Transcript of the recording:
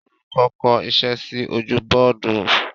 Olùkọ́ kọ iṣẹ́ sí ojú bọ́ọ́dù.